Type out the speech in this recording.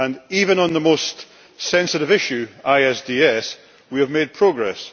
Even on the most sensitive issue ISDS we have made progress.